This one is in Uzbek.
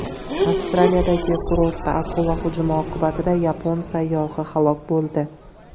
Avstraliyadagi kurortda akula hujumi oqibatida yapon sayyohi halok bo‘ldi.